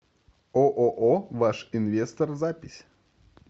ооо ваш инвестор запись